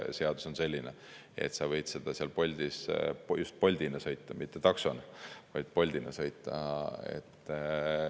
Seadus on selline, et sa võid Bolti sõita – mitte taksot, vaid just Bolti.